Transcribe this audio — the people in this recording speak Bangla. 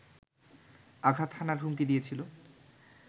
আঘাত হানার হুমকি দিয়েছিল